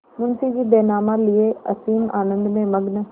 मुंशीजी बैनामा लिये असीम आनंद में मग्न